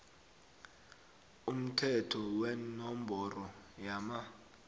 umthetho wenomboro yama